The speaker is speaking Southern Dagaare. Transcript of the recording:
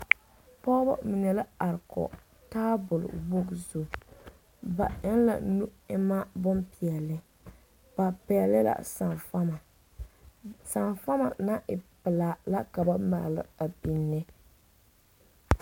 Bnyɔgeibiiri la a deɛnɛ tagere taa ba la taa nuure kyɛ tagera bayi maŋ be a nimitɔɔre ba su kparɛɛ ba mine meŋ are la a kyɛ kaara a laara a biiri poɔ pɛlɛɛ la